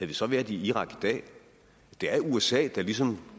vi så været i irak i dag det er usa der ligesom